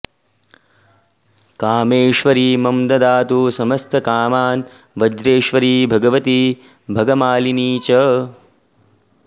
कामेश्वरी मम ददातु समस्तकामान् वज्रेश्वरी भगवती भगमालिनी च